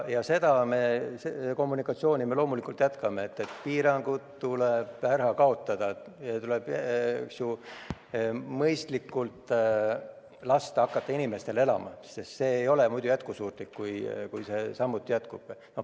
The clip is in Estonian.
Ja seda kommunikatsiooni me loomulikult jätkame, et piirangud tuleb ära kaotada, inimestel tuleb lasta hakata mõistlikult elama, sest samamoodi jätkamine ei ole jätkusuutlik.